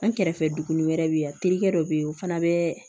An kɛrɛfɛ duguni wɛrɛ bɛ yen terikɛ dɔ bɛ yen o fana bɛ